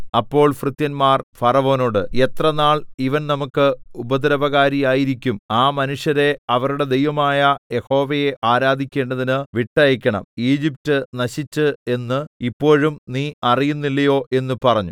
അപ്പോൾ ഭൃത്യന്മാർ ഫറവോനോട് എത്ര നാൾ ഇവൻ നമുക്ക് ഉപദ്രവകാരിയായിരിക്കും ആ മനുഷ്യരെ അവരുടെ ദൈവമായ യഹോവയെ ആരാധിക്കേണ്ടതിന് വിട്ടയയ്ക്കണം ഈജിപ്റ്റ് നശിച്ചു എന്ന് ഇപ്പോഴും നീ അറിയുന്നില്ലയോ എന്ന് പറഞ്ഞു